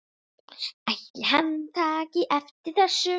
Ætli hann taki eftir þessu?